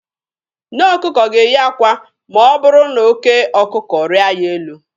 Nne ọkụkọ ga-eyi akwa ma ọ bụrụ na oke ọkụkọ rịa ya elu.